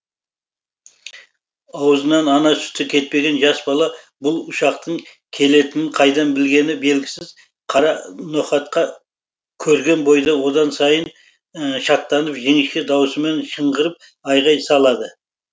аузынан ана сүті кетпеген жас бала бұл ұшақтың келетінін қайдан білгені белгісіз қара ноқатқа көрген бойда одан сайын шаттанып жіңішке дауысымен шыңғырып айғай салады